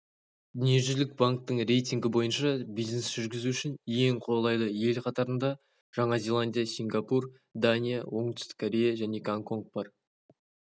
дүниежүзілік банктің рейтингі бойынша бизнес жүргізу үшін ең қолайлы ел қатарында жаңа зеландия сингапур дания оңтүстік корея және гонконг бар